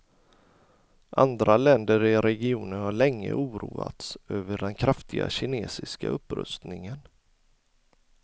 Andra länder i regionen har länge oroats över den kraftiga kinesiska upprustningen.